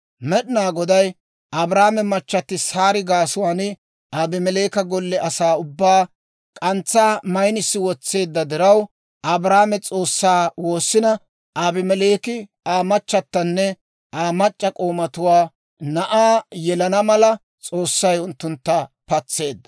Med'inaa Goday Abrahaame machchatti Saari gaasuwaan Abimeleeka golle asaa ubbaa k'antsaa maynissi wotseedda diraw, Abrahaame S'oossaa woossina, Abimeleeki, Aa machatanne Aa mac'c'a k'oomatuwaa na'aa yelana mala S'oossay unttuntta patseedda.